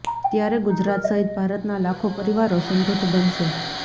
ત્યારે ગુજરાત સહિત ભારતના લાખો પરિવારો સમૃધ્ધ બનશે